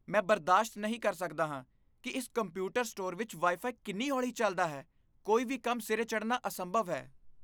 ਮੈਂ ਬਰਦਾਸ਼ਤ ਨਹੀਂ ਕਰ ਸਕਦਾ ਹਾਂ ਕੀ ਇਸ ਕੰਪਿਊਟਰ ਸਟੋਰ ਵਿੱਚ ਵਾਈ ਫਾਈ ਕਿੰਨੀ ਹੌਲੀ ਚੱਲਦਾ ਹੈ ਕੋਈ ਵੀ ਕੰਮ ਸਿਰੇ ਚੜ੍ਹਨਾ ਅਸੰਭਵ ਹੈ